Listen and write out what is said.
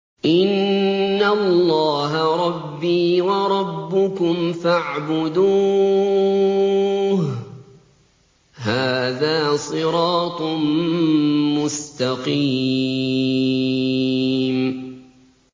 إِنَّ اللَّهَ رَبِّي وَرَبُّكُمْ فَاعْبُدُوهُ ۗ هَٰذَا صِرَاطٌ مُّسْتَقِيمٌ